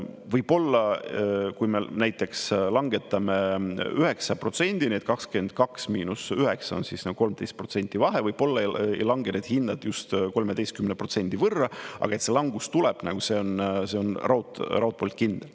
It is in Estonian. Võib-olla, kui me näiteks langetame 9%-ni, et 22 miinus 9 on siis 13% vahe, võib-olla ei lange need hinnad just 13% võrra, aga see langus tuleb, see on raudpolt kindel.